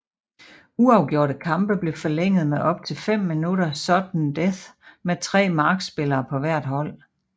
Uafgjorte kampe blev forlænget med op til 5 minutters sudden death med tre markspillere på hvert hold